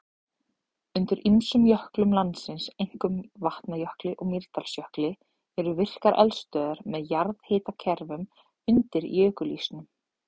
Undir ýmsum jöklum landsins, einkum Vatnajökli og Mýrdalsjökli, eru virkar eldstöðvar með jarðhitakerfum undir jökulísnum.